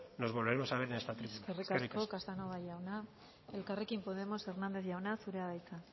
nos volveremos a ver en esta tribuna eskerrik asko eskerrik asko casanova jauna elkarrekin podemos hernández jauna zurea da hitza